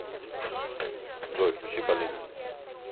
джой включи полина